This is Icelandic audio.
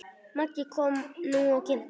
Maggi kom nú og kynnti.